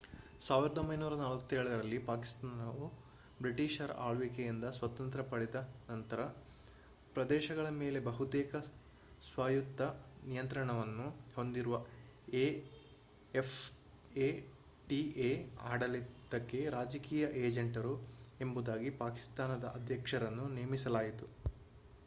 1947 ರಲ್ಲಿ ಪಾಕಿಸ್ತಾನವು ಬ್ರಿಟಿಷರ ಆಳ್ವಿಕೆಯಿಂದ ಸ್ವಾತಂತ್ರ್ಯ ಪಡೆದ ನಂತರ ಪ್ರದೇಶಗಳ ಮೇಲೆ ಬಹುತೇಕ ಸ್ವಾಯತ್ತ ನಿಯಂತ್ರಣವನ್ನು ಹೊಂದಿರುವ ಎಫ್ಎಟಿಎ ಆಡಳಿತಕ್ಕೆ ರಾಜಕೀಯ ಏಜೆಂಟರು ಎಂಬುದಾಗಿ ಪಾಕಿಸ್ತಾನದ ಅಧ್ಯಕ್ಷರನ್ನು ನೇಮಿಸಲಾಯಿತು